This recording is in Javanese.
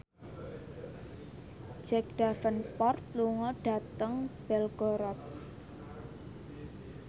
Jack Davenport lunga dhateng Belgorod